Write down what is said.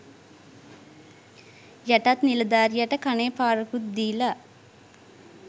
යටත් නිලධාරියට කනේ පාරකුත් දීල